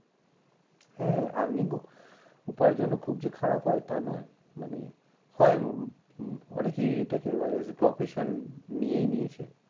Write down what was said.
হ্যাঁ earning ও উপার্জন খুব যে খারাপ হয় তা নয় মানে হয় অনেকেই এটাকে as a profession নিয়েই নিয়েছে।